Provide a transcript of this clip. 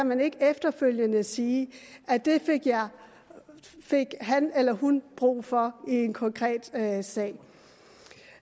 man ikke efterfølgende sige at det fik han eller hun brug for i en konkret sag